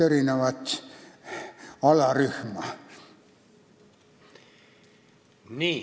Aitäh!